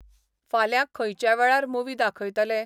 फाल्यां खंयच्या वेळार मुव्ही दाखयतले?